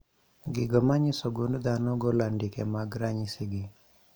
Gigo manyiso gund dhano golo andike mag ranyisi gi